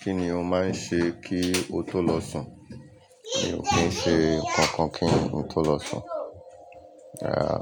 Kí ni o máa ń ṣe kí o tó lọ sùn? Mi ò kí ń ṣe nkan kan kí n tó lọ sùn. Rárá.